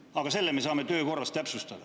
Aga seda me saame töö korras täpsustada.